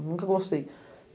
Nunca gostei.